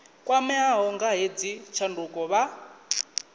kwameaho nga hedzi tshanduko vha